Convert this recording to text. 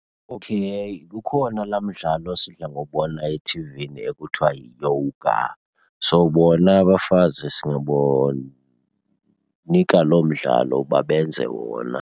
Okay, kukhona laa mdlalo sidla ngowubona ethivini ekuthiwa yi-yoga. So bona abafazi singabonika loo mdlalo uba benze wona.